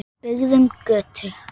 Byggðum götu.